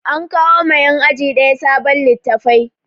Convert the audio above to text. An kawo ma yan aji ɗaya sabon littafai